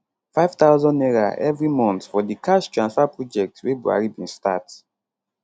n5000 every month for di cash transfer project wey buhari bin start